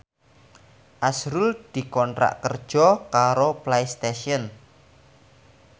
azrul dikontrak kerja karo Playstation